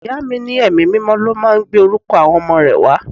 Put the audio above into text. Ìyá mi ní Ẹ̀mí mímọ́ ló máa ń gbé orúkọ àwọn ọmọ rẹ wá.